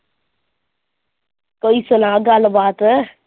ਕੋਈ ਸੁਣਾ ਗੱਲਬਾਤ